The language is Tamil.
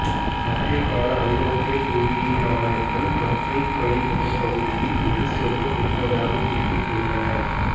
மத்தியகால ஐரோப்பிய புவியியலாளர்கள் கங்கைக் கழிமுகப்பகுதியில் ஒரு சொர்க்கம் இருப்பதாக குறிப்பிட்டுள்ளனர்